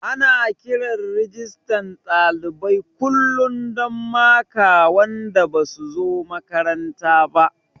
Ana kiran Rijistan ɗalibai kullum don maka wanda basu zo makaranta ba